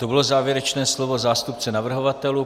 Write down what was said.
To bylo závěrečné slovo zástupce navrhovatelů.